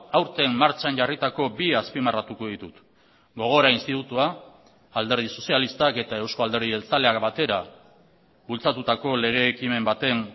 aurten martxan jarritako bi azpimarratuko ditut gogora institutua alderdi sozialistak eta euzko alderdi jeltzaleak batera bultzatutako lege ekimen baten